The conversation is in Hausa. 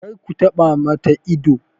Kar ka taɓa ma ta ido!